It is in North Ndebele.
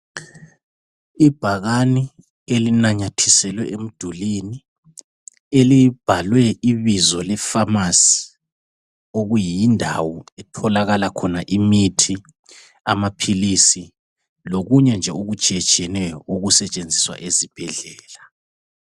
Ibhakani elinanyathiselwe emdulwini elibhalwe ibizo le"pharmacy "okuyindawo etholakala khona imithi, amaphilisi lokunye nje okutshiyetshiyeneyo okusetshenziswa esibhedlela.